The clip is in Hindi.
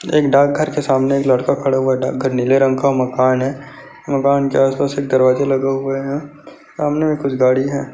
एक डाकघर के सामने एक लड़का खड़ा हुआ है डाकघर नीले रंग का मकान है मकान के आसपास एक दरवाजा लगा हुआ है सामने में कुछ गाड़ी हैं।